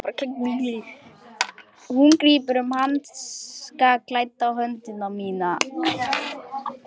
Hún grípur um hanskaklædda hönd mína.